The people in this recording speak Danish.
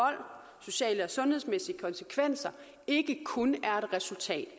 sociale og sundhedsmæssige konsekvenser ikke kun er et resultat